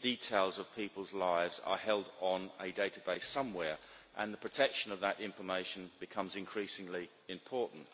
details of people's lives are held on a database somewhere, and the protection of that information becomes increasingly important.